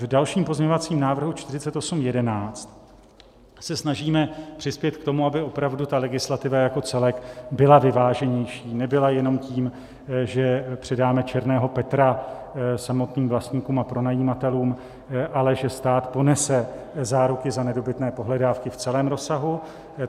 V dalším pozměňovacím návrhu 4811 se snažíme přispět k tomu, aby opravdu ta legislativa jako celek byla vyváženější, nebyla jenom tím, že přidáme černého Petra samotným vlastníkům a pronajímatelům, ale že stát ponese záruku za nedobytné pohledávky v celém rozsahu.